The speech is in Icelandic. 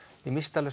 ég missti